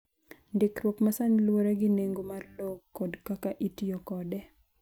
Ndikruok ma sani luwore gi nengo mar lowo kod kaka itiyo kode.